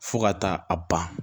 Fo ka taa a ban